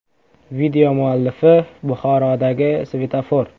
Video muallifi: “Buxorodagi svetofor!